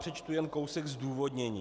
Přečtu jen kousek zdůvodnění.